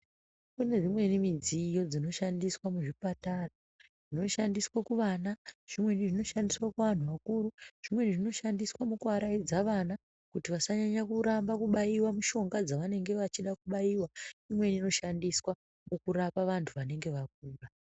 Kune mimweni midziyo dzinoshandiswa muchipatara. Zvinoshandiswa kuvana, zvimweni zvinoshandiswa kuantu akuru, zvimweni zvinoshandiswa mukuaraidza vana kuti vasanyanya kuramba kubaiwa mishonga panguva dzevanenge vachida kubaiwa uye kurapa vantu vanenge vakura.